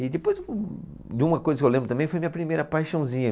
E depois de uma coisa que eu lembro também, foi minha primeira paixãozinha.